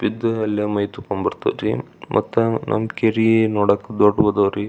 ಇದು ಎಲ್ಲಾ ಮೈತೋಕೋ ಬರತ್ತರಿ ಮತ್ತೆ ನಮ್ಮ ಕೇರಿ ನೋಡಕ್ ದೊಡ್ಡವದರಿ.